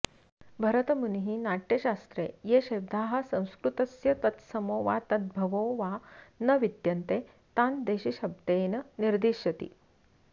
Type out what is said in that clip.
भरतमुनिः नाट्यशास्त्रे ये शब्दाः संस्कृतस्य तत्समो वा तद्भवो वा न विद्यन्ते तान् देशीशब्देन निर्दिशति